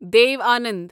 Dev Anand